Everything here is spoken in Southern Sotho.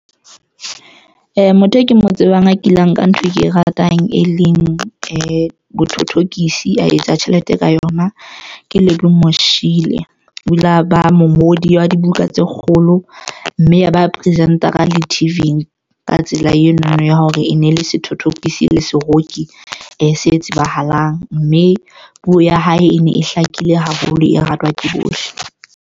Motho e ke mo tsebang a kileng ka ntho e ke e ratang, e leng bo dithothokisi. A etsa tjhelete ka yona ke Lemo Moshiela o ile a ba mongodi wa dibuka tse kgolo yoh mme yaba presenter-a le T_V-ng. Ka tsela eno ya hore e ne le sethothokisi le seroki e se e tsebahalang mme puo ya hae e ne e hlakile haholo, e ratwa ke bohle.